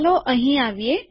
ચાલો અહીં આવીએ